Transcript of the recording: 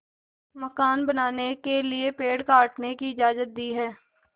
मकान बनाने के लिए पेड़ काटने की इजाज़त दी है